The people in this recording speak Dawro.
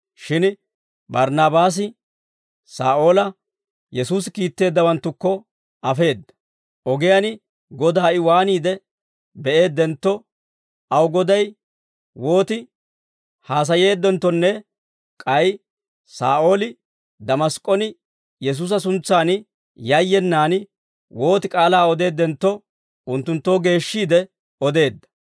Shin Barnaabaasi Saa'oola Yesuusi kiitteeddawanttukko afeedda; ogiyaan Godaa I waaniide be'eeddentto, aw Goday wooti haasayeeddenttonne k'ay Saa'ooli Damask'k'on Yesuusa suntsan yayyenaan wooti k'aalaa odeeddentto, unttunttoo geeshshiide odeedda.